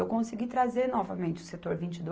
Eu consegui trazer novamente o Setor vinte e dois